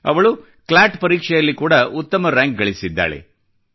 ಅವಳು ಕ್ಲಾಟ್ ಪರೀಕ್ಷೆಯಲ್ಲಿ ಉತ್ತಮ ರಾಂಕ್ ಕೂಡಾ ಗಳಿಸಿದ್ದಾಳೆ